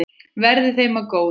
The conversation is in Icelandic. Verði þeim að góðu.